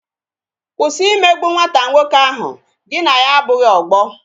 Kwụsị imegbu nwata nwoke ahụ, gị na ya abụghị ọgbọ